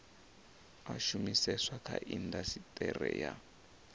a shumiseswa kha indasiteri ya